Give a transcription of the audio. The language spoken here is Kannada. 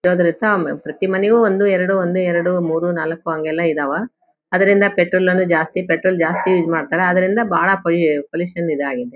ಪ್ರತಿ ಮನೆಯಾಗು ಒಂದು ಎರಡು ಒಂದು ಎರಡು ಮೂರೂ ನಾಲಕ್ಕು ಹಂಗೆಲ್ಲಾ ಇದಾವ ಅದರಿಂದ ಪೆಟ್ರೋಲ್ ನ್ನು ಜಾಸ್ತಿ ಪೆಟ್ರೋಲ್ ಯೂಸ್ ಮಾಡ್ತಾರೆ ಅದರಿಂದ ಬಾಳ ಪೊಲ್ ಪೊಲ್ಯೂಷನ್ ಇದಾಗಿದೆ .]